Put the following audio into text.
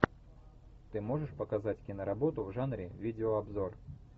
ты можешь показать киноработу в жанре видеообзор